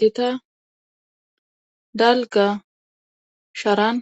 Gita dalgga sharan